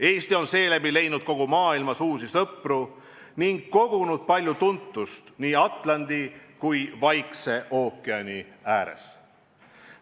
Eesti on seeläbi leidnud kogu maailmas uusi sõpru ning kogunud palju tuntust nii Atlandi kui ka Vaikse ookeani ääres.